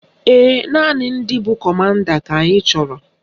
Ee, naanị ndị bụ kọmanda ka anyị chọrọ